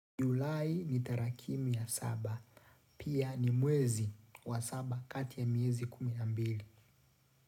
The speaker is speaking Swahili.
Julai ni tarakimu ya saba. Pia ni mwezi wa saba kati ya miezi kumi na mbili.